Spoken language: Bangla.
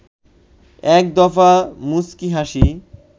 এক দফা মুচকি হাসি